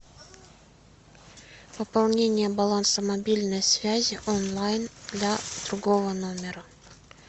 пополнение баланса мобильной связи онлайн для другого номера